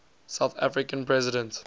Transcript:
south african president